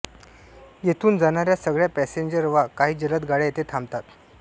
येथून जाणाऱ्या सगळ्या पॅसेंजर वा काही जलद गाड्या येथे थांबतात